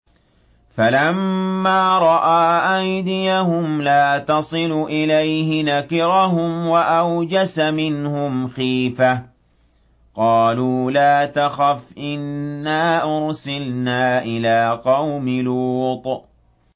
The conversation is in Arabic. فَلَمَّا رَأَىٰ أَيْدِيَهُمْ لَا تَصِلُ إِلَيْهِ نَكِرَهُمْ وَأَوْجَسَ مِنْهُمْ خِيفَةً ۚ قَالُوا لَا تَخَفْ إِنَّا أُرْسِلْنَا إِلَىٰ قَوْمِ لُوطٍ